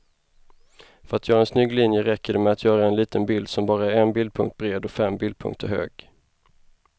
För att göra en snygg linje räcker det med att göra en liten bild som bara är en bildpunkt bred och fem bildpunkter hög.